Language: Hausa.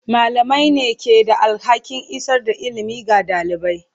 Malamai ne ke da alhakin isar da ilimi ga ɗalibai.